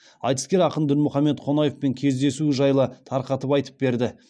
айтыскер ақын дінмұхамед қонаевпен кездесуі жайлы тарқатып айтып берді